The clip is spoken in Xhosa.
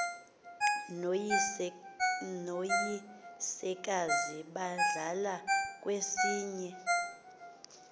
noyisekazi bahlala kwesinye